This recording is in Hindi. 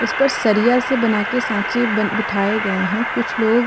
उस पर सरिया से बना के साँचे बन बिठाये गए है कुछ लोग --